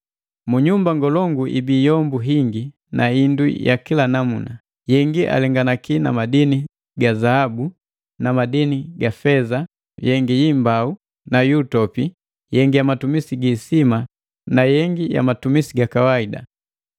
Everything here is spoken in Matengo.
Mnyumba ngolongu ibii yombu hingi na indu ya kila namuna: Yengi alenganaki na madini ya zahabu na madini ga feza, yengi yi imbau nu yu utopi, yengi ya matumisi gi hisima na yengi ya matumisi gaka kawaida.